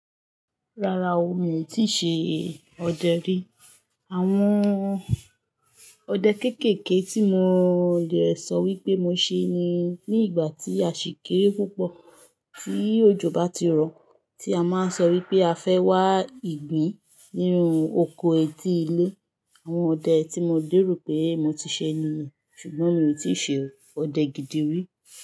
Rárá o, mi ò tíì ṣe ọdẹ rí. Àwọn ọdẹ kéékèèké tí mo lè sọ wípé mo ṣe ní ìgbà tí a ṣì kéré púpọ̀. Tí òjò bá ti rọ̀, tí a máa ń sọ wípé a fẹ́ wá ìgbín nínú oko etí ilé. Àwọn ọdẹ tí mo lèrò pé mo ti ṣe ni, ṣùgbọ́n mi ò tíì ṣe ọdẹ gidi rí.